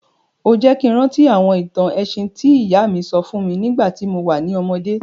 O jẹ́ ki n rántí àwọn ìtàn ẹ̀sìn ti ìyá mi sọ fún mi nígbàtí mo wa ni ọmọdé.